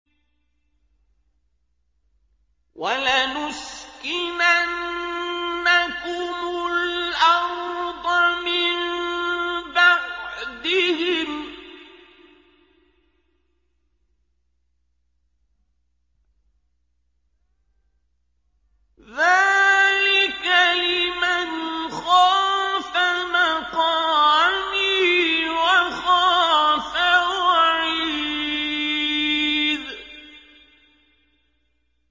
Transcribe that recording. وَلَنُسْكِنَنَّكُمُ الْأَرْضَ مِن بَعْدِهِمْ ۚ ذَٰلِكَ لِمَنْ خَافَ مَقَامِي وَخَافَ وَعِيدِ